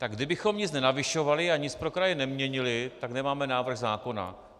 Tak kdybychom nic nenavyšovali a nic pro kraje neměnili, tak nemáme návrh zákona.